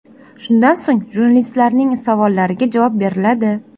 Shundan so‘ng, jurnalistlarning savollariga javob beriladi.